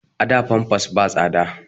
A da famfas ba tsada